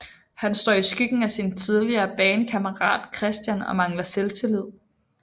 Han står i skyggen af sin tidligere bandkammerat Christian og mangler selvtillid